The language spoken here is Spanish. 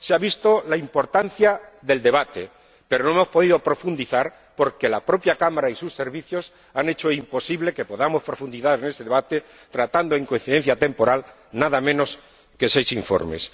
Se ha visto la importancia del debate, pero no hemos podido profundizar porque la propia Cámara y sus servicios han hecho imposible que podamos profundizar en este debate, tratando en coincidencia temporal nada menos que seis informes.